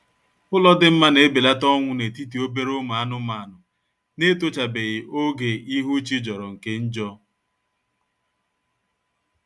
Ụlọ dị mma na-ebelata ọnwụ na-etiti obere ụmụ anụmanụ na-etochabeghi oge ihu chi jọrọ nke njọ